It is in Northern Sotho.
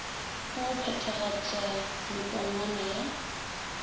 wa go phethagatpa mepongwana ya